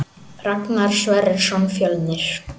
Ragnar Sverrisson Fjölnir